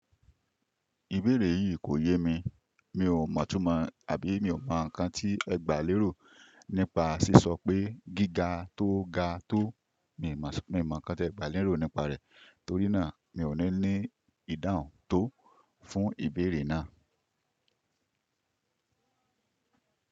Ìbéèrè yí kò yé mi, mi ò mọ̀túnmọ̀ àbí mi ò mọ̀ ǹkan tí ẹ gbà lérò nípa ṣí sọ pé gíga tó ga tó. Mi ò mọ̀ ǹkan tí ẹ gbà lérò nípa rẹ̀, torínà mi ò ní ní ìdáhùn tó fún ìbéèrè náà.